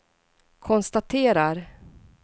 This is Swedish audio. konstaterar